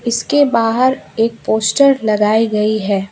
इसके बाहर एक पोस्टर लगाई गई है।